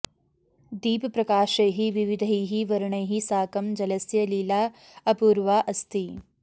दीपप्रकाशैः विविधैः वर्णैः साकं जलस्य लीला अपूर्वा अस्ति